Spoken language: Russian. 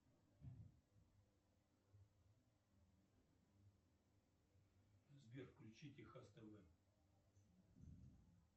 сбер включи техас тв